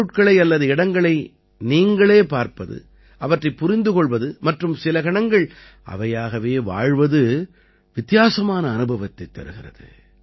பொருட்களை அல்லது இடங்களை நீங்களே பார்ப்பது அவற்றைப் புரிந்துகொள்வது மற்றும் சில கணங்கள் அவையாகவே வாழ்வது வித்தியாசமான அனுபவத்தைத் தருகிறது